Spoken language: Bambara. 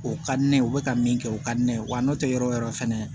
O ka di ne ye u bɛ ka min kɛ o ka di ne ye wa n'o tɛ yɔrɔ o yɔrɔ fɛnɛ